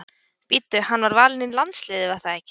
Bíddu hann var valinn í landsliðið var það ekki?